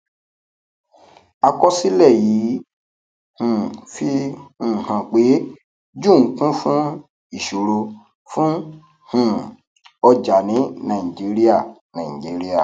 àkọsílẹ yìí um fi um hàn pé june kún fún ìṣòro fún um ọjà ní nàìjíríà nàìjíríà